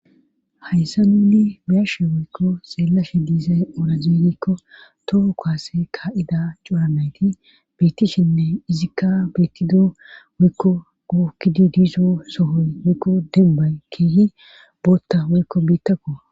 Hayssa nunni biyarshe woykko xeellashe diizay ora zeerikko toho kaase kaa7ida cuuranayti beettishinne izikka beettido woykko guukkidi diizo sohoy woykko dembay keehi bootta woykko biittakko.